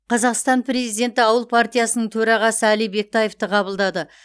қазақстан президенті ауыл партиясының төрағасы әли бектаевты қабылдады